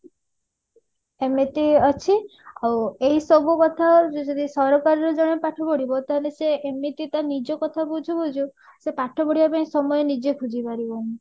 ଏମିତି ଅଛି ଆଉ ଏଇସବୁ କଥା ଯଦି ସରକାରୀ ରେ ଜଣେ ପାଠ ପଢିବ ତାହେଲେ ସେ ଏମିତି ତା ନିଜ କଥା ବୁଝୁ ବୁଝୁ ସେ ପାଠ ପଢିବା ପାଇଁ ସମୟ ନିଜେ ଖୋଜି ପାରିବନି